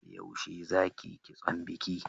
Yaushe za ki yi kitson biki?